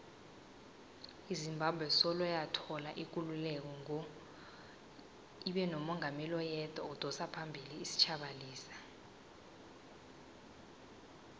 izimbabwe soloyathola ikululeko ngo ibenomungameli oyedwa odosaphambili isitjhaba lesa